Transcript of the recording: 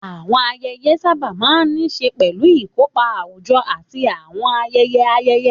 Àwọn ayẹyẹ sábà máa ń ní í ṣe pẹ̀lú ìkópa àwùjọ àti àwọn ayẹyẹ ayẹyẹ.